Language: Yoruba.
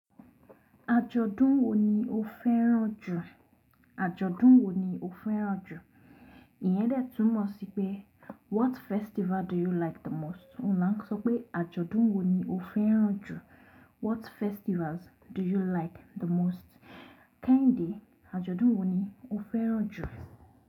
Ajọ̀dún wo ni o fẹ́ràn jù? Ajọ̀dún wo ni o fẹ́ràn jù? Ìyẹn dè túmọ̀ sí pé what festival do you like the most? Ní ma sọ pé ajọ̀dún wo ni o fẹ́ràn jù? What festivals do you like the most? Kẹ́hìndé, ajọ̀dún wo ni o fẹ́ràn jù?